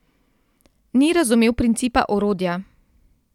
Ni razumel principa orodja.